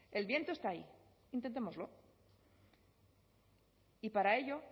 el viento está ahí intentémoslo y para ello